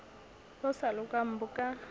bo sa lokang bo ka